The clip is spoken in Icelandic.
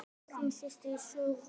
Þín systir, Sigrún.